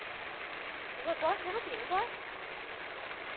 Eu posso fazer no fim, não posso?